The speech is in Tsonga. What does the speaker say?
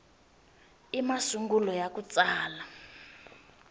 i masungulo ya ku tsala